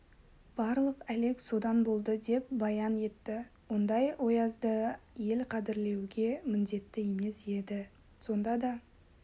барлық әлек содан болды деп баян етті ондай оязды ел қадірлеуге міндетті емес еді сонда да